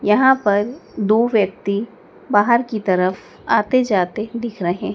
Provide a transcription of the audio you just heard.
यहां पर दु व्यक्ति बाहर की तरफ आते जाते दिख रहे--